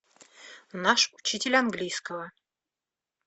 наш учитель английского